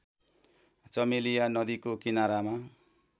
चमेलिया नदीको किनारामा